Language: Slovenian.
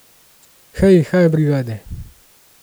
Hej haj brigade!